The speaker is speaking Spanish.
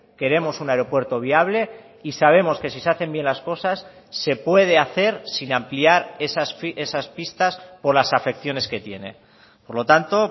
queremos un aeropuerto viable y sabemos que si se hacen bien las cosas se puede hacer sin ampliar esas pistas por las afecciones que tiene por lo tanto